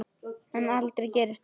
En aldrei gerist það.